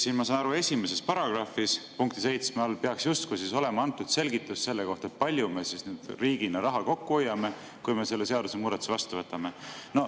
Ma saan aru, 1. paragrahvis peaks punkti 7 all justkui olema antud selgitus selle kohta, kui palju me riigina raha kokku hoiame, kui me selle seadusemuudatuse vastu võtame.